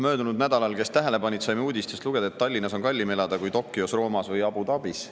Möödunud nädalal, kes tähele panid, saime uudistest lugeda, et Tallinnas on kallim elada kui Tokyos, Roomas või Abu Dhabis.